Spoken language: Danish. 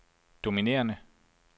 dominerende